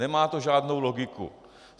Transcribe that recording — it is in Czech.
Nemá to žádnou logiku.